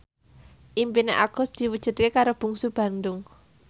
impine Agus diwujudke karo Bungsu Bandung